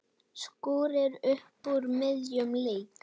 Skúrir upp úr miðjum leik.